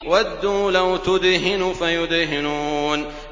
وَدُّوا لَوْ تُدْهِنُ فَيُدْهِنُونَ